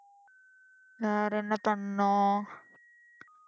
வேறென்ன பண்ணோம்